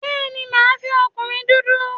Bẹ́ẹ̀ni, màá fẹ́ ọkùnrin dúdú